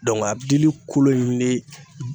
a dili kolo in de